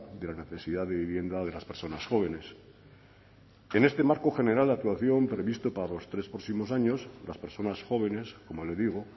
de la necesidad de vivienda de las personas jóvenes en este marco general de actuación previsto para los tres próximos años las personas jóvenes como le digo